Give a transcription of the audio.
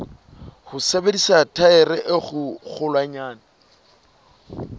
ho sebedisa thaere e kgolwanyane